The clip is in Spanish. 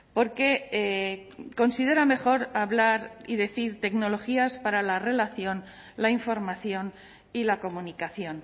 porque considera mejor hablar y decir tecnologías para la relación la información y la comunicación